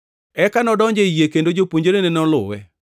Eka nodonjo ei yie kendo jopuonjrene noluwe.